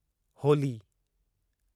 Holi